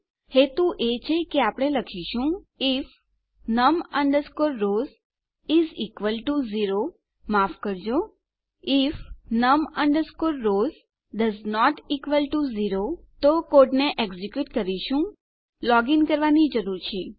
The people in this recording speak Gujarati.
હવે હેતુ એ છે કે આપણે લખી શકીએ છીએ if num rows is equal to zero માફ કરજો if my num rows doesn't equal zero પછી આપણે કોડને એક્ઝેક્યુટ કરીશું આપણે લોગીન કરવાની જરૂર છે